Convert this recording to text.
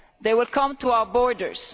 They will come to our borders.